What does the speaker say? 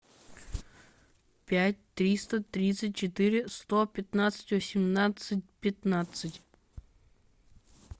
пять триста тридцать четыре сто пятнадцать восемнадцать пятнадцать